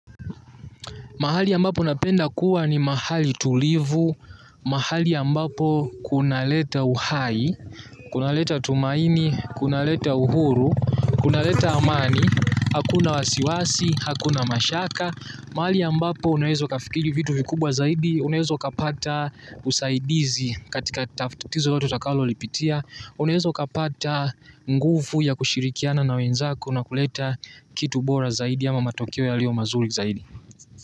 Mahali ya mbapo napenda kuwa ni mahali tulivu, mahali ambapo kunaleta uhai, kunaleta tumaini, kunaleta uhuru, kunaleta amani, hakuna wasiwasi, hakuna mashaka. Mahali ambapo unaweza kafikiri vitu vikubwa zaidi, unawezo kapata usaidizi katika tatzo loloto utakalo lipitia, unawezo ukapata nguvu ya kushirikiana na wenzako na kuleta kitu bora zaidi ama matokeo yalio mazuri zaidi.